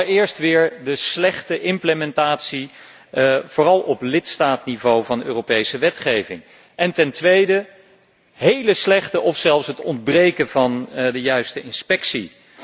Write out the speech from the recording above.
Dat is allereerst weer de slechte implementatie, vooral op lidstaatniveau, van Europese wetgeving en ten tweede hele slechte inspectie of zelfs het ontbreken van de juiste inspectie.